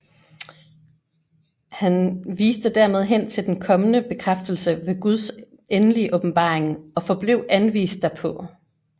Han viste dermed hen til den kommende bekræftelse ved Guds endelige åbenbaring og forblev anvist derpå